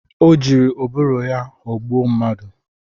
Ọ jiri ụbụrụ ya ghọgbụ mmadụ